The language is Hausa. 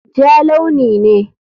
Ja launi ne.